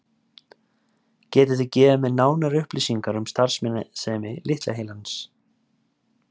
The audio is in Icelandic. Getið þið gefið mér nánari upplýsingar um starfsemi litla heilans?